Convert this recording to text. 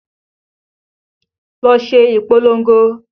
Lọ ṣe ìpolongo!